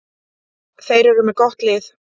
Þeir eru með gott lið.